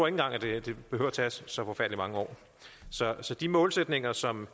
engang det behøver at tage så forfærdelig mange år så de målsætninger som man